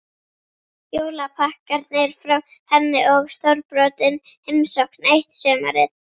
Jólapakkarnir frá henni og stórbrotin heimsókn eitt sumarið.